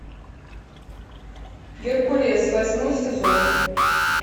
геркулес восьмой сезон